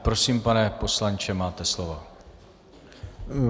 Prosím, pane poslanče, máte slovo.